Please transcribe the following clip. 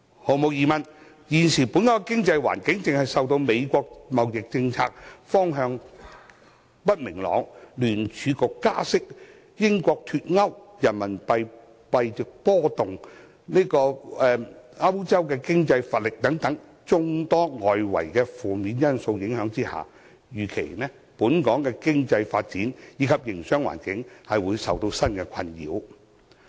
毫無疑問，現時本港的經濟環境正受到美國的貿易政策方向不明朗、聯邦儲備局加息、英國脫歐、人民幣幣值波動，以及歐洲經濟乏力等眾多外圍負面因素影響，預期本港的經濟發展及營商環境會受到新的困擾。